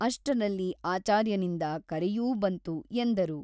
ಅಷ್ಟರಲ್ಲಿ ಆಚಾರ್ಯನಿಂದ ಕರೆಯೂ ಬಂತು ಎಂದರು.